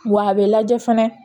Wa a bɛ lajɛ fɛnɛ